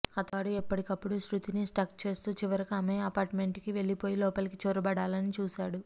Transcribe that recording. అతగాడు ఎప్పటికప్పుడు శృతిని స్టాక్ చేస్తూ చివరకు ఆమె అపార్ట్మెంట్కి వెళ్లిపోయి లోపలికి చొరబడాలని చూశాడు